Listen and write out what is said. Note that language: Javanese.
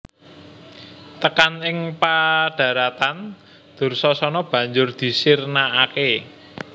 Tekan ing padharatan Dursasana banjur disirnakake